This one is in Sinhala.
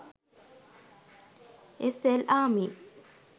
sl army